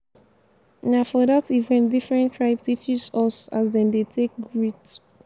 na for dat event differn tribe teaches us as dem dey take greet.